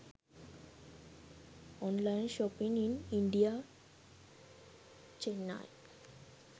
online shopping in india chennai